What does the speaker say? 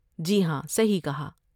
جی ہاں، صحیح کہا!